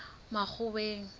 makgoweng